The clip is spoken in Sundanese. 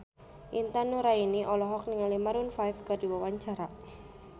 Intan Nuraini olohok ningali Maroon 5 keur diwawancara